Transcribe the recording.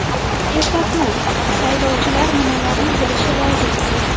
Eslatma: Saylovchilar nimalarni bilishi lozim?.